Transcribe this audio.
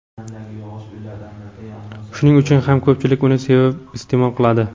Shuning uchun ham ko‘pchilik uni sevib iste’mol qiladi.